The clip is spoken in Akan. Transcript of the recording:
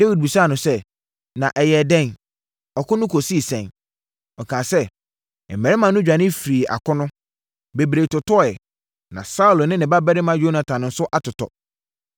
Dawid bisaa no sɛ, “Na ɛyɛɛ dɛn? Ɔko no kɔsii sɛn?” Ɔkaa sɛ, “Mmarima no dwane firii akono. Bebree totɔeɛ. Na Saulo ne ne babarima Yonatan nso atotɔ.”